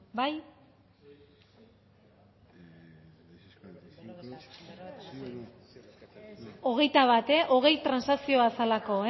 bai hogeita bat hogei transakzioa zelako